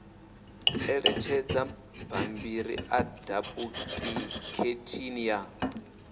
ṋetshedza bammbiri ḽa dupuḽikheithi ya